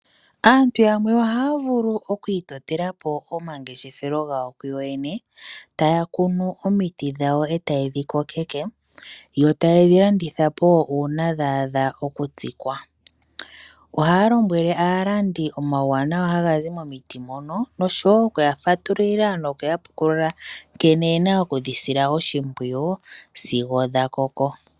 Aantu yamwe ohaya vulu oku itotela po omangeshefelo gawo kuyo yene, taya kunu omiti dhawo etaye dhi kokeko yo taye dhi kanditha po uuna dha adha oku tsikwa. Ohaya lombwele aalandi omauwanawa haga zi momiti mono, nosho woo oku ya fatululila noku ya pukulula nkene yena oku dhi sila oshimpwiyu sigo dha koko.